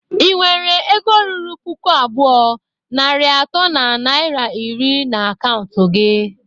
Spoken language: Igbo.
Ị nwere ego ruru puku abụọ, narị atọ na naira iri na akaụntụ gi?